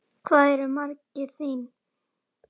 Hver eru markmið þín?